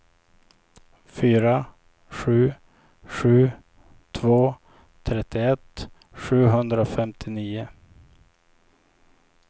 fyra sju sju två trettioett sjuhundrafemtionio